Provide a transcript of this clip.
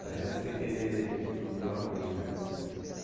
Não adianta você querer tudo de uma vez, né?